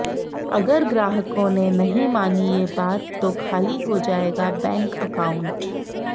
अगर ग्राहकों ने नहीं मानी ये बात तो खाली हो जाएगा बैंक अकाउंट